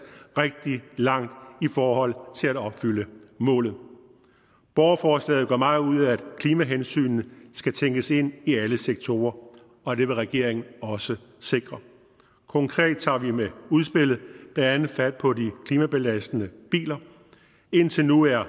rigtig langt i forhold til at opfylde målet borgerforslaget gør meget ud af at klimahensynet skal tænkes ind i alle sektorer og det vil regeringen også sikre konkret tager vi med udspillet blandt andet fat på de klimabelastende biler indtil nu er